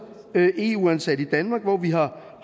eu ansatte i danmark hvor vi har